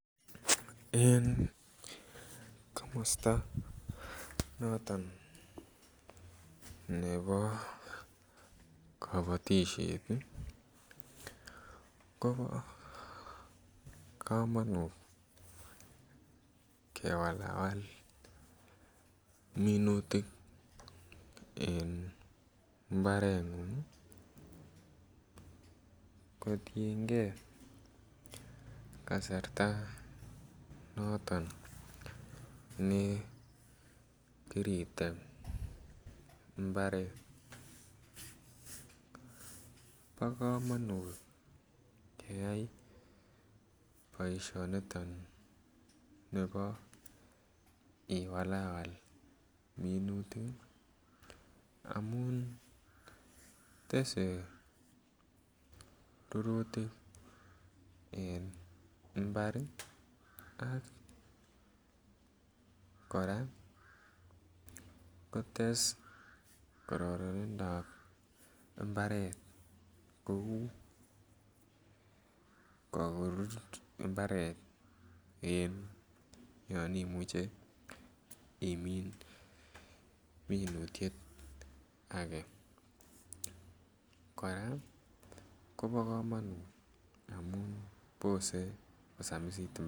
En komosto noton nebo kobotishet ii kobo komonut kewalawal minutik en mbarengung kotiengee kasarta noton ne kiritem mbaret. Bo komonut keyay boisioni niton nebo iwalawal minutik amun tesee rurutik en mbar ii ak koraa kores kororonindap mbaret kouu korur mbaret en yon imuche imin minutiet agee, koraa kobo komonut amun bosee kosam